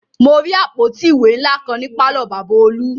Mo rí àpótí ìwé ńlá kan ní pàlọ́ Bàbá olú